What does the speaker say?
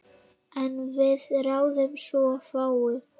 En við ráðum svo fáu.